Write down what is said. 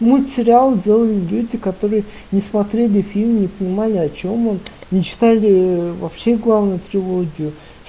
мультсериал делали люди которые не смотрели фильм не понимали о чем он не читали вообще главную трилогию